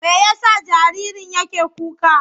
Me ya sa jaririn yake kuka?